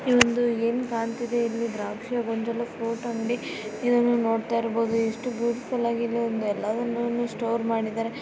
ಈ ಒಂದು ಏನ್ ಕಾಣ್ತಿದೆ ಇಲ್ಲಿಯ ದ್ರಾಕ್ಷಿಯ ಗೊಂಚಲು ಫ್ರೂಟ್ ಅಂಗಡಿ ಇದನ್ನು ನೋಡತಾಇರ್ಬೋದು ಎಷ್ಟು ಬ್ಯೂಟಿಫುಲ್ ಆಗಿದೆ. ಎಲ್ಲದನ್ನು ಸ್ಟೋರ್ ಮಾಡಿದಾರೆ.